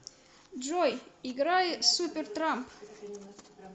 джой играй супертрамп